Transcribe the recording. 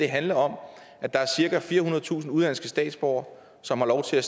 handler om at der er cirka firehundredetusind udenlandske statsborgere som har lov til at